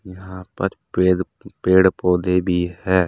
यहां पर पेड़ पेड़ पौधे भी है।